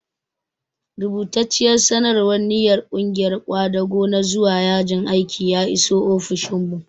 Rubatacciyar sanarwar ninyar ƙungiyar ƙwadago na zuwa yajin aiki ya iso ofishinmu.